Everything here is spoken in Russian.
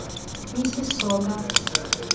миссиссога